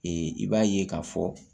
i b'a ye k'a fɔ